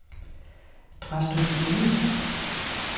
Drastrup Enge